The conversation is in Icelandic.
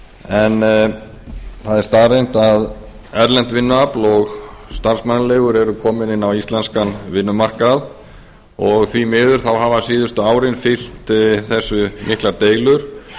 en það er staðreynd að erlent vinnuafl og starfsmannaleigur eru komin inn á íslenskan vinnumarkað og því miður hafa síðustu árin fylgt þessu miklar deilur